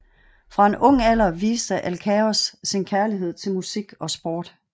Fra en ung alder viste Alkaios sin kærlighed til musik og sport